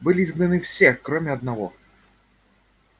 были изгнаны все кроме одного